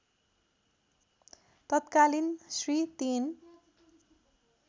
तत्कालीन श्री ३